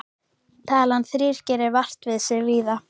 Talan þrír gerir vart við sig víða.